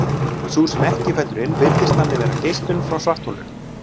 sú sem ekki fellur inn virðist þannig vera geislun frá svartholinu